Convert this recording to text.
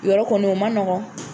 Yɔrɔ kɔni o man nɔgɔ.